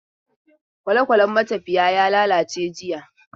Kwalekwalen matafiya ya lalace jiya.